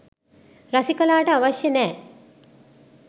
රසිකලාට අවශ්‍ය නෑ.